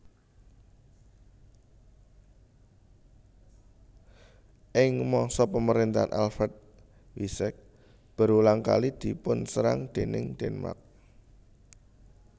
Ing masa pemerintahan Alfred Wessex berulang kali dipunserang déning Denmark